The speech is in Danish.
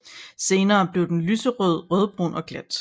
Senere bliver den lyst rødbrun og glat